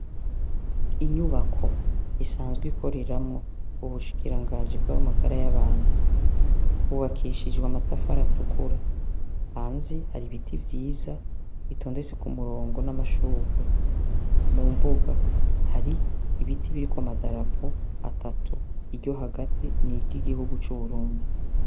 Inyubako isanzwe ikoreramwo ubushikirangaji bw'amagara abantu yubakishije amatafari atukura hanze hari ibiti vyiza bitondetse kumurongo namashurwe kumbuga hari ibiti biriko amadarapo atatatu iryo hagati ni iry'igihugu c'Uburundi.